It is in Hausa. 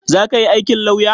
Zaka yi aikin lauya?